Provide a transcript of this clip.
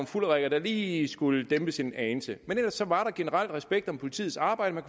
fulderikker der lige skulle dæmpes en anelse men ellers var der generelt respekt om politiets arbejde man